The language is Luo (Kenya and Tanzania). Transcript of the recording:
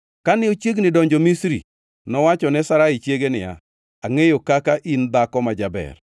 Kane ochiegni donjo Misri, nowacho ne Sarai chiege niya, “Angʼeyo kaka in dhako ma jaber.